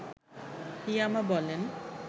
ইয়ামা বলেন